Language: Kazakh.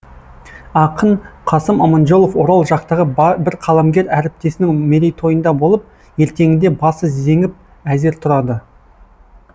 ақын қасым аманжолов орал жақтағы бір қаламгер әріптесінің мерейтойында болып ертеңінде басы зеңіп әзер тұрады